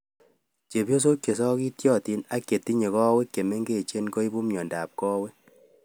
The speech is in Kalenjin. Chepyosok chesakityatin ak chetindoi kawek chemingechen koipu miondap kawek